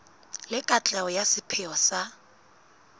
le katleho ya sepheo sa